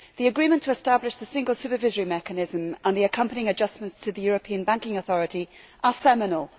The agreement to establish the Single Supervisory Mechanism and the accompanying adjustments to the European Banking Authority are seminal.